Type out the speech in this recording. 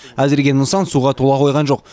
әзірге нысан суға тола қойған жоқ